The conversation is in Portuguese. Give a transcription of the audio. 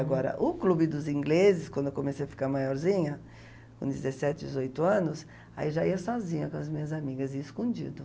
Agora, o clube dos ingleses, quando eu comecei a ficar maiorzinha, com dezessete, dezoito anos, aí já ia sozinha com as minhas amigas, ia escondido.